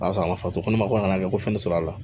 Barisa a ma faso kɔnɔ mako nana kɛ ko fɛn sɔrɔ la